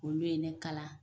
Olu ye ne kalan